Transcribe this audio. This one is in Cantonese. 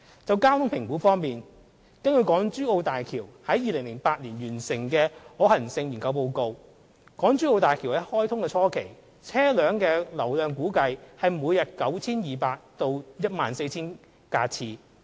就交通評估方面，根據港珠澳大橋項目於2008年完成的可行性研究報告，港珠澳大橋於開通初期，車流量估計為每日 9,200 架次至 14,000 架次。